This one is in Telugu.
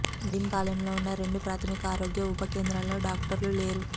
నడింపాలెంలో ఉన్న రెండు ప్రాథమిక ఆరోగ్య ఉప కేంద్రాల్లో డాక్టర్లు లేరు